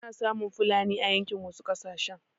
Ana samun fulani a yankin wasu ƙasashen.